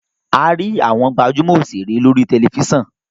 a rí àwòn gbajúmò òṣèré lórí tẹlifísàn